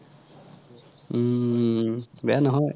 হুম বেয়া নহয়